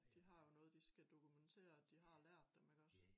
De har jo noget de skal dokumentere at de har lært dem iggås